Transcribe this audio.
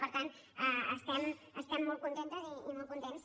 per tant estem molt contentes i molt contents